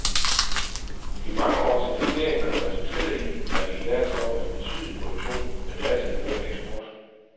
De mange års investeringer har resulteret i, at vi i dag står med en betydelig produktion med dertil hørende eksport.